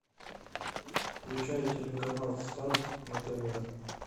включай телеканал старт на тв